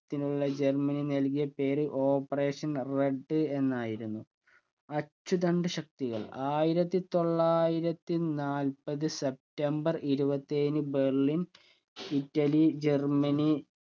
ത്തിനുള്ള Germany നൽകിയ പേരു operation red എന്നായിരുന്നു അച്ചുതണ്ട് ശക്തികൾ ആയിരത്തിത്തൊള്ളായിരത്തി നാൽപത് സെപ്റ്റംബർ ഇരുപത്തി ഏഴിന് ബെർലിൻ ഇറ്റലി ജർമനി